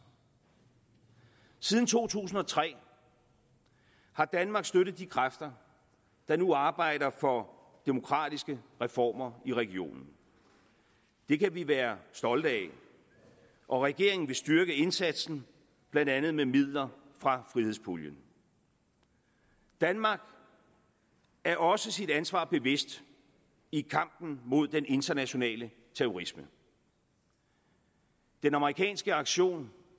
siden to tusind og tre har danmark støttet de kræfter der nu arbejder for demokratiske reformer i regionen det kan vi være stolte af og regeringen vil styrke indsatsen blandt andet med midler fra frihedspuljen danmark er også sit ansvar bevidst i kampen mod den internationale terrorisme den amerikanske aktion